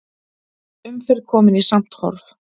Umferð komin í samt horf